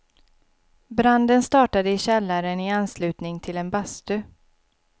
Branden startade i källaren i anslutning till en bastu.